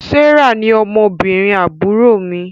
Serah ní ọmọ obìrin àbúrò mí